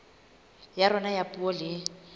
ya rona ya puo le